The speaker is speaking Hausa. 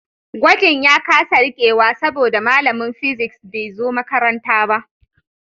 Gwajin ya kasa rikewa saboda malamin physics bai zo makaranta ba